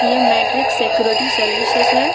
यह Matrix security services है।